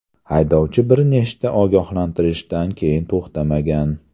Haydovchi bir nechta ogohlantirishdan keyin to‘xtamagan.